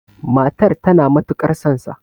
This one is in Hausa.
matar tana matukar sonsa!